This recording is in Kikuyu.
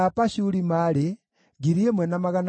na Barikosi, na Sisera, na Tema,